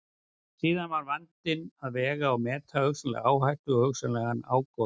Síðan er vandinn að vega og meta hugsanlega áhættu og hugsanlegan ágóða.